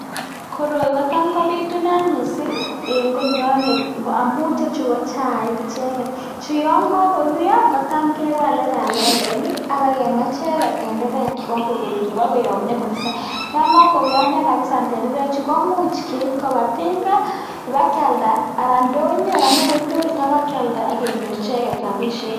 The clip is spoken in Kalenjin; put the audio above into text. Koroiii kotam kopitunat kissing Eng olinyonent Kinare tendereeek chutok anan Keib kopa ndonyo sigenyor rapisheek